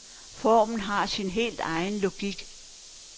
Formen har sin helt egen logik.